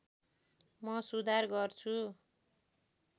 म सुधार गर्छु